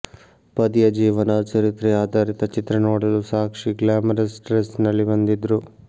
ಪತಿಯ ಜೀವನ ಚರಿತ್ರೆ ಆಧಾರಿತ ಚಿತ್ರ ನೋಡಲು ಸಾಕ್ಷಿ ಗ್ಲಾಮರಸ್ ಡ್ರೆಸ್ ನಲ್ಲಿ ಬಂದಿದ್ರು